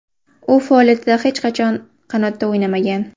U faoliyatida hech qachon qanotda o‘ynamagan.